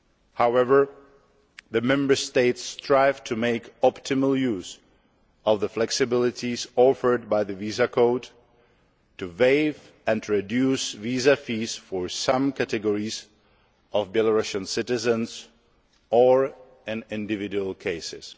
However, the Member States are striving to make optimal use of the flexibilities offered by the visa code to waive and reduce visa fees for some categories of Belarusian citizens or in individual cases.